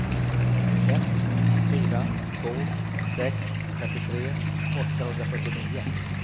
ett fyra två sex femtiotre åttahundrafyrtionio